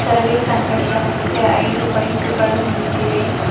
Service ಅಂಗಡಿಯ ಮುಂದೆ ಐದು ಬೈಕು ಗಳು ನಿಂತಿವೆ.